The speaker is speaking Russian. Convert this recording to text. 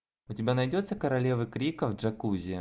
у тебя найдется королевы крика в джакузи